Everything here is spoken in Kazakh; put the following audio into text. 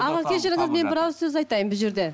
аға кешіріңіз мен бір ауыз сөз айтайын бұл жерде